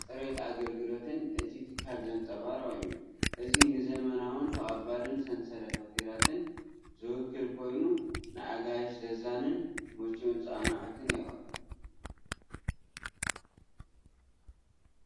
ፅሬት ኣገልግሎትን እቲ ትካል ዘንፀባርቕ እዩ። እዚ ንዘመናውን ተቐባሊን ሰንሰለት ሆቴላት ዝውክል ኮይኑ፡ ንኣጋይሹ ዘዛንን ምቹእን ጻንሖት የቕርብ።